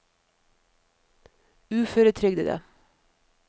uføretrygdede